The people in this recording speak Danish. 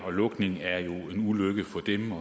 på lukningen